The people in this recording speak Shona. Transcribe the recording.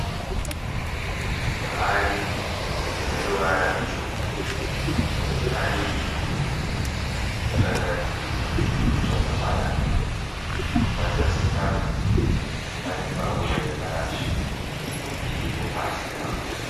Hari dzine ruvara rutsvuku. Hari idzi dzakagadzirwa zvakafanana. Pazasi pacho pane mbahura yemarasha iripo pasi pawo.